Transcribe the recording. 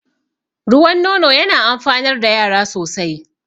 Ruwan nono yana amfanar da yara sosai